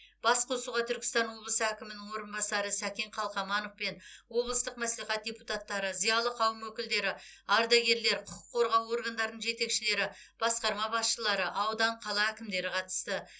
басқосуға түркістан облысы әкімінің орынбасары сәкен қалқаманов пен облыстық мәслихат депутаттары зиялы қауым өкілдері ардагерлер құқық қорғау органдарының жетекшілері басқарма басшылары аудан қала әкімдері қатысты